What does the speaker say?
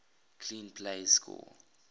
clean plays score